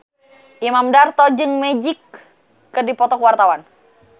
Imam Darto jeung Magic keur dipoto ku wartawan